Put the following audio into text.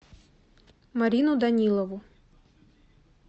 марину данилову